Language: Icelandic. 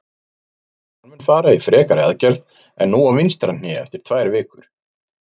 Hann mun fara í frekari aðgerð en nú á vinstra hné eftir tvær vikur.